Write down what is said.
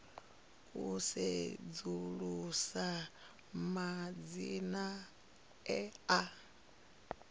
u sedzulusa madzina e a